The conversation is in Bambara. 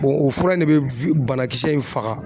O fura in ne bɛ banakisɛ in faga.